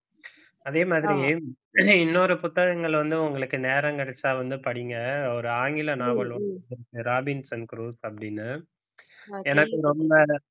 அதே மாதிரி இன்னொரு புத்தகங்கள் வந்து உங்களுக்கு நேரம் கிடைச்சா வந்து படிங்க ஒரு ஆங்கில நாவல் ராபின் சன் குரூஸ் அப்படின்னு எனக்கு ரொம்ப